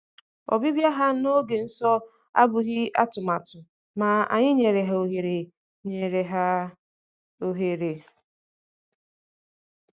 Ọbịbịa ha n’oge nsọ abụghị atụmatụ, ma anyị nyere ha ohere. nyere ha ohere.